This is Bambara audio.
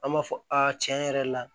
An b'a fɔ a tiɲɛ yɛrɛ la